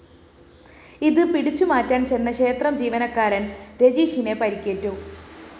ഇത് പിടിച്ചു മാറ്റാന്‍ ചെന്ന ക്ഷേത്രം ജീവനക്കാരന്‍ രജിഷിന് പരിക്കേറ്റു